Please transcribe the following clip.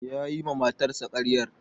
Ya yi ma matarsa karyar.